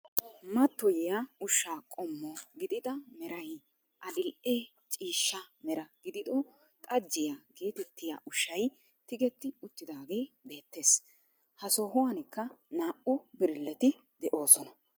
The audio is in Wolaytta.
Mattoyiyaa ushshaa qommo gidida meray adil"e ciishsha mera gidido xajjiyaa getettiyaa ushshay tigetti uttaagee beettees. Ha sohuwankka naa"u birilletti de'oosona.